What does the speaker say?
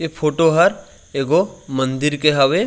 ऐ फोटो हर ऐगो मंदिर के हवे।